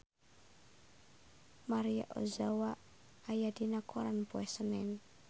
Maria Ozawa aya dina koran poe Senen